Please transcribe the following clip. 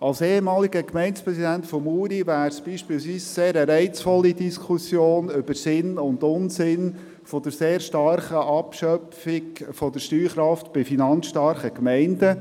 Als ehemaliger Gemeindepräsident von Muri wäre es für mich beispielsweise eine sehr reizvolle Diskussion über Sinn und Unsinn der sehr starken Abschöpfung der Steuerkraft bei finanzstarken Gemeinden.